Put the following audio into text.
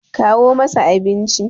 kawo masa abinci!